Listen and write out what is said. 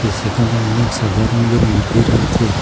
যে সেখানে অনেক সাদা রঙের মুরগি রয়েছে।